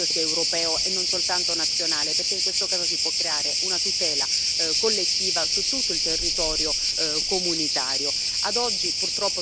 È per questo che è importante che il fondo sia europeo, e non soltanto nazionale, perché in questo caso si può creare una tutela collettiva su tutto il territorio dell'Unione.